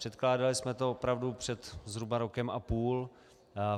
Předkládali jsme to opravdu před zhruba rokem a půl.